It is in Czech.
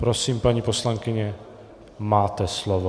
Prosím, paní poslankyně, máte slovo.